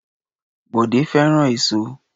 Bọ̀dé fẹ́ràn èso.